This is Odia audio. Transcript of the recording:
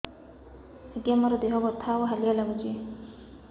ଆଜ୍ଞା ମୋର ଦେହ ବଥା ଆଉ ହାଲିଆ ଲାଗୁଚି